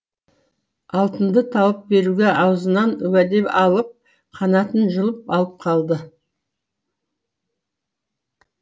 алтынды тауып беруге аузынан уәде алып қанатын жұлып алып қалды